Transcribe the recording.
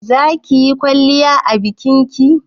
zakiyi kwalliya a bikinki?